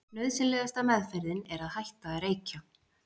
Nauðsynlegasta meðferðin er að hætta að reykja.